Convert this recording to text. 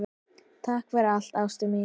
Takk fyrir allt, ástin mín.